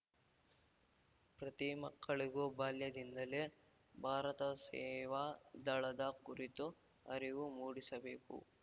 ಪ್ರತಿ ಮಕ್ಕಳಿಗೂ ಬಾಲ್ಯದಿಂದಲೇ ಭಾರತ ಸೇವಾ ದಳದ ಕುರಿತು ಅರಿವು ಮೂಡಿಸಬೇಕು